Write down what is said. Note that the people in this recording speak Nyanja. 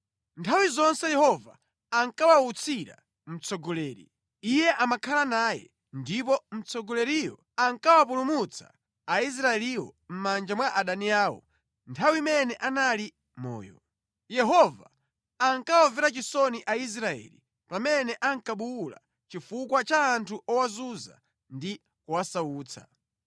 Nthawi zonse Yehova akawautsira mtsogoleri, Iye amakhala naye, ndipo mtsogoleriyo ankawapulumutsa Aisraeliwo mʼmanja mwa adani awo mʼnthawi imene anali moyo. Yehova ankawamvera chisoni Aisraeli pamene ankabuwula chifukwa cha anthu owazunza ndi kuwasautsa.